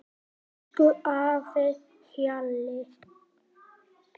Elsku afi Hjalli.